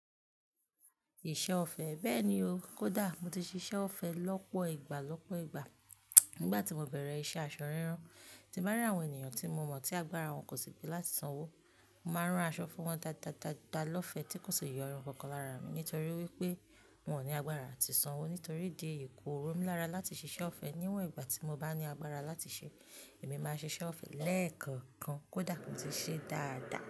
Ìṣe ọ̀fẹ́ bẹ́ẹ̀ ni o. Kódà mo ti ṣe iṣẹ́ ọ̀fẹ́ lọ́pọ̀ ìgbà lọ́pọ̀ ìgbà. Nígbà tí mo bẹ̀rẹ̀ iṣẹ́ aṣọ rírán, tí màa ri àwọn ènìyàn tí mo mọ̀ tí agbára wọn kò sì pé láti sanwó. Mo máa rán aṣọ fún wọn dáadáa, dáadáa lọ́fẹ́ tí kò ṣe yọrun kankan lára mi nítorí wípé wọn ò ní agbára àti sanwó, nítorí di èyi kó ro mí lára láti ṣe iṣẹ́ ọ̀fẹ́. Níwọ̀n ìgbà tí mo bá ní agbára láti ṣe, èmi máa ṣe iṣẹ́ ọ̀fẹ́ lẹ́ẹ̀kọ̀kan. Kódà mo ti ṣe dáadáa.